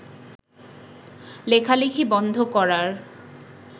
লেখালেখি বন্ধ করার